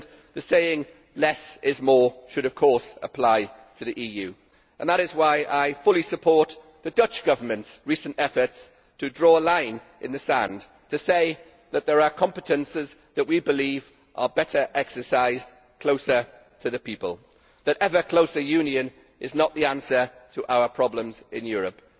The saying less is more' should of course apply to the EU, and that is why I fully support the Dutch Government's recent efforts to draw a line in the sand to say that there are competences that we believe are better exercised closer to the people, that ever closer union is not the answer to our problems in Europe.